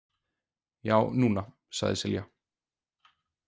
Já, núna, sagði Silja.